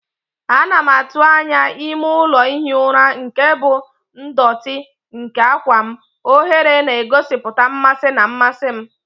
Ana m atụ anya ime ụlọ ihi ụra nke bụ ndọtị nke àgwà m, oghere na-egosipụta mmasị na mmasị m.